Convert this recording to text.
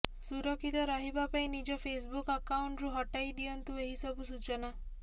ସୁରକ୍ଷିତ ରହିବା ପାଇଁ ନିଜ ଫେସ୍ବୁକ୍ ଆକାଉଣ୍ଟ୍ରୁ ହଟାଇ ଦିଅନ୍ତୁ ଏହି ସବୁ ସୂଚନା